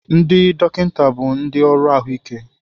Ndị dọkịta bụ ndị ọrụ ahụike.